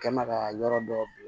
Kɛ n bɛ ka yɔrɔ dɔ bin